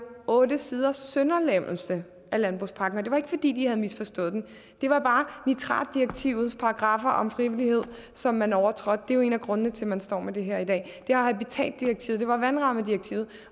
otte siders sønderlemmelse af landbrugspakken og det var jo ikke fordi de havde misforstået den det var bare nitratdirektivets paragraffer om frivillighed som man overtrådte det er jo en af grundene til at man står med det her i dag det var habitatdirektivet det var vandrammedirektivet